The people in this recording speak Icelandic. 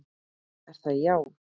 Er það já?